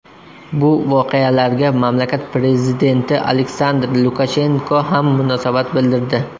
Bu voqealarga mamlakat prezidenti Aleksandr Lukashenko ham munosabat bildirdi .